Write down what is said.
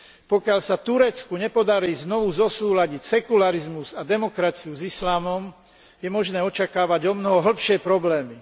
Pokiaľ sa Turecku nepodarí znovu zosúladiť sekularizmus a demokraciu s islamom, je možné očakávať omnoho hlbšie problémy.